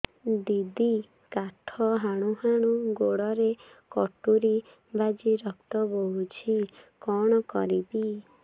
ଦିଦି କାଠ ହାଣୁ ହାଣୁ ଗୋଡରେ କଟୁରୀ ବାଜି ରକ୍ତ ବୋହୁଛି କଣ କରିବି